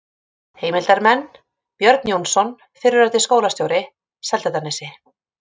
Heimildarmenn: Björn Jónsson, fyrrverandi skólastjóri, Seltjarnarnesi